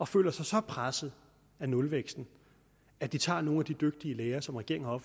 føler sig så pressede af nulvæksten at de tager nogle af de dygtige lærere som regeringen har